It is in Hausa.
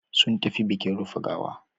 Sun tafi bikin rufe gawa.